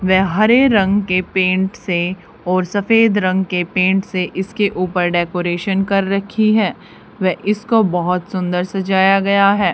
व हरे रंग के पेंट से और सफेद रंग के पेंट से इसके ऊपर डेकोरेशन कर रखी है व इसको बहोत सुंदर सजाया गया है।